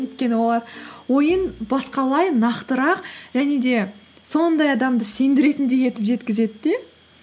өйткені олар ойын басқалай нақтырақ және де сондай адамды сендіретіндей етіп жеткізеді де